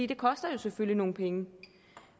det koster jo selvfølgelig nogle penge